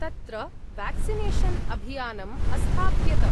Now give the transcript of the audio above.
तत्र वेक्सिनेशन् अभियानम् अस्थाप्यत।